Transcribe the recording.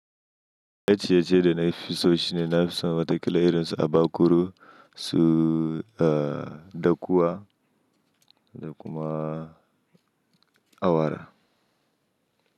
Na ciyeciye da na fi so shine na fi so wata kila su abakuro su dakuwa da kuma awara.